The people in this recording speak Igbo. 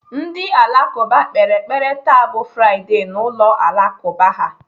Ndị Alakụba kpere ekpere taa bụ Fraịdee na ụlọ Alakụba ha.